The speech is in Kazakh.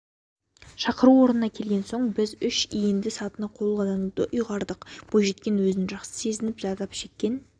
шақыру орнына келген соң біз үш иінді сатыны қолдануды ұйғардық бойжеткен өзін жақсы сезінді зардап шеккен